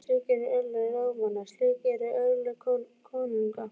Slík eru örlög ráðamanna- slík eru örlög konunga.